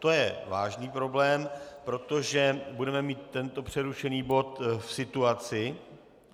To je vážný problém, protože budeme mít tento přerušený bod v situaci...